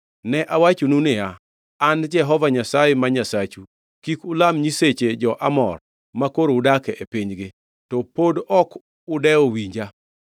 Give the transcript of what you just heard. Ne awachonu niya, ‘An Jehova Nyasaye ma Nyasachu; kik ulam nyiseche jo-Amor, makoro udak e pinygi.’ To pod ok udewo winja.”